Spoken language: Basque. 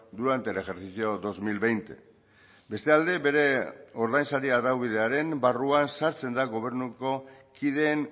durante el ejercicio dos mil veinte beste alde bere ordainsari araubidearen barruan sartzen da gobernuko kideen